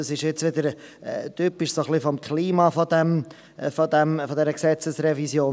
Das ist wieder typisch für das Klima dieser Gesetzesrevision: